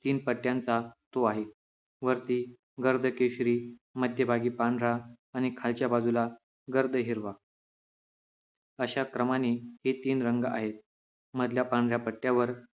तीन पट्ट्याचा तो आहे वरती गडद केशरी मध्यभागी पांढरा आणि खालच्या बाजूला गर्द हिरवा अशाप्रमाणे हे तीन रंग आहेत मधल्या पांढऱ्या पट्ट्यावर